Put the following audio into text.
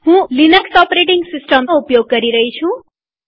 હું લીનક્સ OSનો ઉપયોગ કરી રહી છું